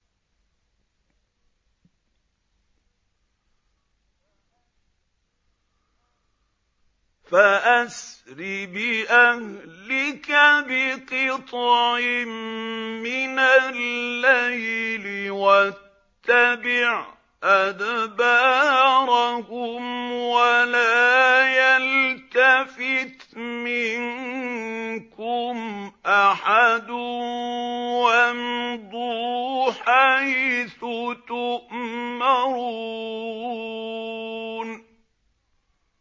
فَأَسْرِ بِأَهْلِكَ بِقِطْعٍ مِّنَ اللَّيْلِ وَاتَّبِعْ أَدْبَارَهُمْ وَلَا يَلْتَفِتْ مِنكُمْ أَحَدٌ وَامْضُوا حَيْثُ تُؤْمَرُونَ